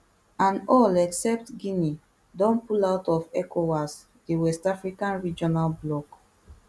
and all except guinea don pull out of ecowas di west african regional bloc